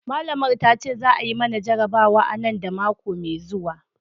malamar ta ce za mu yi mana jarabawa nan da mako mai zuwa.